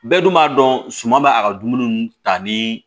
Bɛɛ dun b'a dɔn suma bɛ a ka dumuni ta ni